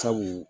Sabu